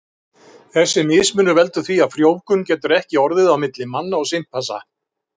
Þessi mismunur veldur því að frjóvgun getur ekki orðið á milli manna og simpansa.